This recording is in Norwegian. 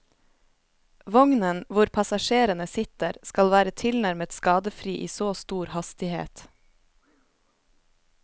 Vognen hvor passasjerene sitter, skal være tilnærmet skadefri i så stor hastighet.